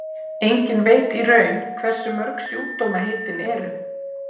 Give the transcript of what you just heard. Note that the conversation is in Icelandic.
enginn veit í raun hversu mörg sjúkdómaheitin eru